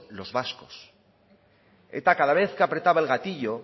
los vascos eta cada vez que apretaba el gatillo